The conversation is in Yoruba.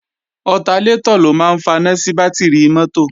Ọtalétọ̀ ló máa ń faná sí bátìrì mọ́tò